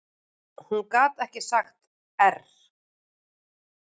Hún gat ekki sagt err.